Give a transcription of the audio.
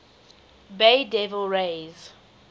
bay devil rays